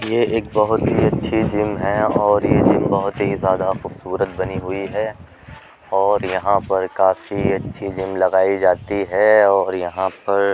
ये एक बहुत ही अच्छी जिम है और ये जिम बहुत ही ज्यादा खूबसूरत बनी हुई है और यहाँ पर काफी अच्छी जिम लगाई जाती है और यहाँ पर --